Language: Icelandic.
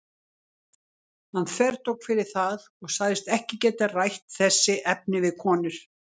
Hann þvertók fyrir það og sagðist ekki geta rætt þessi efni við konur.